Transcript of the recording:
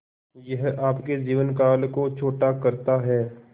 यह आपके जीवन काल को छोटा करता है